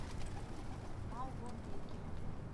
малгобеке